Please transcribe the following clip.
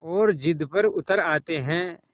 और ज़िद पर उतर आते हैं